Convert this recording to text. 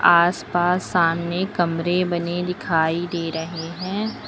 आसपास सामने कमरे बने दिखाई दे रहे हैं।